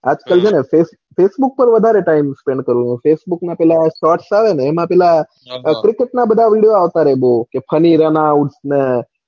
આજકાલ છે ને facebook પર વધારે time, spend કરું ફેસબુક ના પેલા shorts આવે ને એમાં પેલા video આવતા રે બૌ હા funny, announce ને,